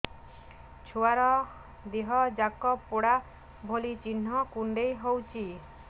ଛୁଆର ଦିହ ଯାକ ପୋଡା ଭଳି ଚି଼ହ୍ନ କୁଣ୍ଡେଇ ହଉଛି